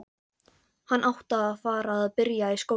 Hann átti að fara að byrja í skólanum.